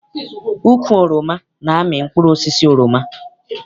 Ukwu oroma na-amị mkpụrụosisi oroma.